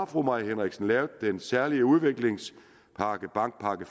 fru mai henriksen lavet den særlige udviklingspakke bankpakke